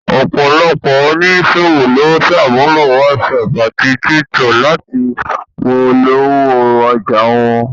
Ọ̀pọ̀lọpọ̀ oníṣòwò ló ń sàmúlò whatsapp àti tiktok láti fi polówó ọjà wọn